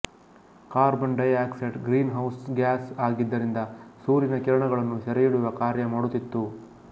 carbon dioxide greenhouse gas ಆಗಿದ್ದರಿಂದ ಸೂರ್ಯನ ಕಿರಣಗಳನ್ನು ಸೆರೆಹಿಡಿಯುವ ಕಾರ್ಯ ಮಾಡುತ್ತಿತ್ತು